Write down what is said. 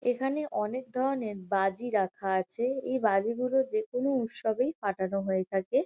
এখানে অনেক ধরনের বাজি রাখা আছে। এই বাজিগুলো যেকোনো উৎসবেই ফাটানো হয়ে থাকে।